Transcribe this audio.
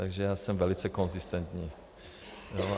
Takže já jsem velice konzistentní.